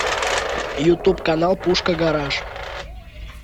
ютуб канал пушка гараж